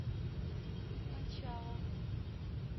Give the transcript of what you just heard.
мачала